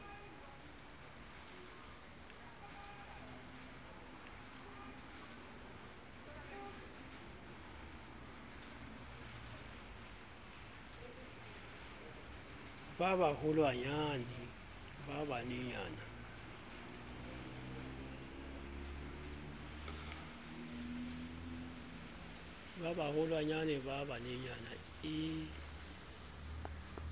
ba baholwanyane ba bananyana e